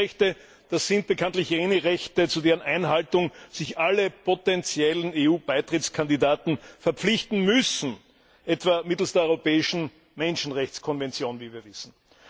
Menschenrechte sind bekanntlich jene Rechte, zu deren Einhaltung sich alle potentiellen EU Beitrittskandidaten verpflichten müssen, etwa mittels der europäischen Menschenrechtkonvention, wie wir wissen.